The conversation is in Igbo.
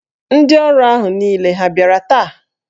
Ndị ọrụ ahụ niile ha bịara taa?